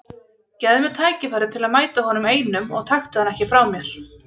Gefðu mér tækifæri til að mæta honum einum og taktu hann ekki frá mér.